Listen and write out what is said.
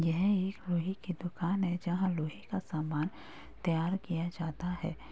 यह एक लोहे की दुकान है जहाँ लोहे का सामान तैयार किया जाता है।